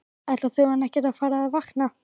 Ætlar þjóðin ekkert að fara að vakna?